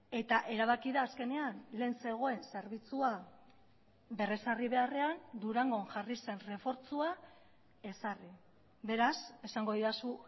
eta erabaki da azkenean lehen zegoen zerbitzua berrezarri beharrean durangon jarri zen errefortzua ezarri beraz esango didazu